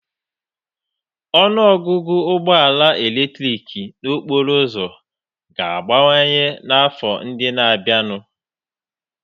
Ọnụ ọgụgụ ụgbọ ala eletrik n'okporo ụzọ ga-abawanye n'afọ ndị na-abịanụ